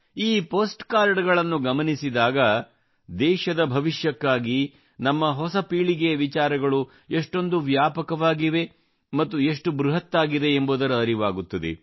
ಈ ಪೋಸ್ಟ್ ಕಾರ್ಡಗಳನ್ನು ಗಮನಿಸಿದಾಗ ದೇಶದ ಭವಿಷ್ಯಕ್ಕಾಗಿ ನಮ್ಮ ಹೊಸ ಪೀಳಿಗೆಯ ವಿಚಾರಗಳು ಎಷ್ಟೊಂದು ವ್ಯಾಪಕವಾಗಿವೆ ಮತ್ತು ಎಷ್ಟು ಬೃಹತ್ ಆಗಿದೆ ಎಂಬುದರ ಅರಿವಾಗುತ್ತದೆ